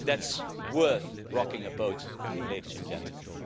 That is worth rocking a boat, ladies and gentlemen!